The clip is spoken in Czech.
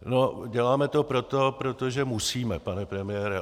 No, děláme to proto, protože musíme, pane premiére.